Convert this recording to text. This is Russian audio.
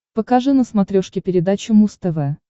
покажи на смотрешке передачу муз тв